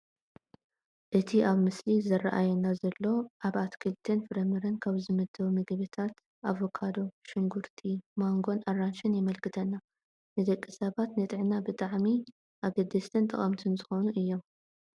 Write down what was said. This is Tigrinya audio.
እቲ ኣብቲ ምስሊ ዝራኣየና ዘሎ ኣብ ኣትክልትን ፍራምረን ካብ ዝምደቡ ምግብታት ኣቮካዶ፣ ሽጉርቲ፣ ማንጎን ኣራንሺን የመልክተና፡፡ ንደቂ ሰባት ንጥዕና ብጣዕሚ ኣገደስትን ጠቐምትን ዝኾኑ እዮም፡፡